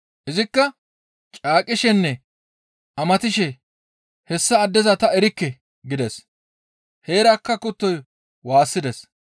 Izikka caaqishenne amatishe, «Hessa addeza ta erikke!» gides. Heerakka kuttoy waassides.